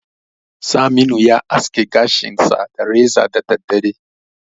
Saminu ya aske gashinsa da reza koya da daddare.